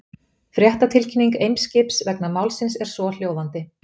Fréttatilkynning Eimskips vegna málsins er svohljóðandi.